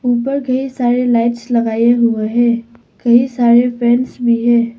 ऊपर कई सारे लाइट्स लगाए हुए हैं कई सारे फैंस भी है।